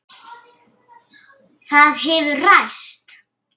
Það hefur ræst.